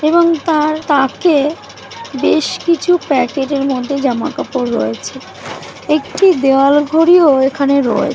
এবং তার তাকে বেশ কিছু প্যাকেটের মধ্যে জামা কাপড় রয়েছে । একটি দেয়াল ঘড়িও এখানে রয়ে --